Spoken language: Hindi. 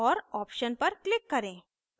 और option पर click करें